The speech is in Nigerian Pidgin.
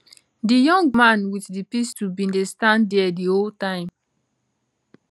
di young man wit di pistol bin dey stand dia di whole time